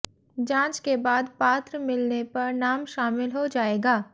जांच के बाद पात्र मिलने पर नाम शामिल हो जाएगा